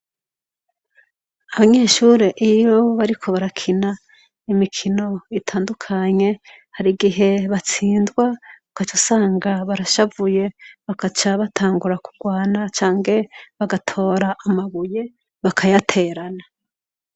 Abanyeshure iyo bari ko barakina imikino itandukanye, hari igihe batsindwa ugaca usanga barashavuye, bagaca batangura kurwana canke bagatora amabuye bakayaterana.